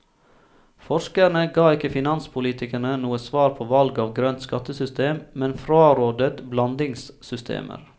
Forskerne ga ikke finanspolitikerne noe svar på valg av grønt skattesystem, men frarådet blandingssystemer.